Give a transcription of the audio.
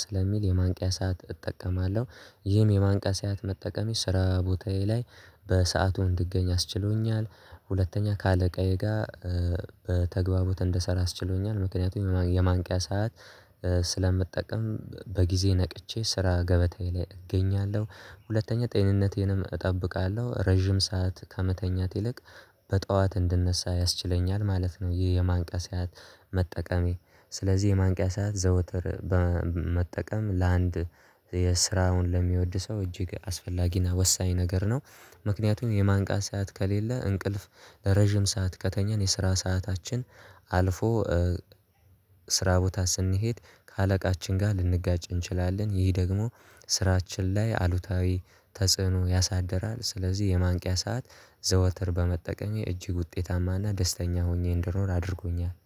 ስለሚል የማንቂያ ሰዓት እጠቀማለሁ ይህም የማንቀሳያት መጠቀሜ ስራ ቦታዬ ላይ በሰአቱ እንድገኝ አስችሎኛል። ሁለተኛ ከአለቃዬ ጋር በተግባቦት እንደሰራ አስችሎኛል ምክንያቱም የማንቂያ ሰዓት ስለምጠቀም በጊዜ ነቅቼ ስራ ገበታዬ ላይ እገኛለሁ። ሁለተኛ ጤንነቴንም እጠብቃለሁ ረጅም ሰዓት ከመተኛት ይልቅ በጧት እንድነሳ ያስችለኛል ማለት ነው። ይህ የማንቂያ ሰዓት መጠቀሜ። ስለዚህ የማንቂያ ሰዓት ዘወትር በመጠቀም ለአንድ የስራውን ለሚወድ ሰው እጅግ አስፈላጊና ወሳኝ ነገር ነው። ምክንያቱም የማንቃት ሰዓት ከሌለ እንቅልፍ ለረጅም ሰዓት ከተኘን የስራ ሰዓታችን አልፎ ስራ ቦታ ስንሄድ ከአለቃችን ጋር ልንጋጭ እንችላለን ይህ ደግሞ ስራችን ላይ አሉታዊ ተጽዕኖ ያሳድራል። ስለዚህ የማንቂያ ሰዓት ዘወትር በመጠቀሜ እጅግ ውጤታማና ደስተኛ ሆኜ እንደኖር አድርጎኛል